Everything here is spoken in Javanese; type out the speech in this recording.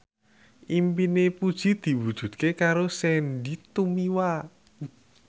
impine Puji diwujudke karo Sandy Tumiwa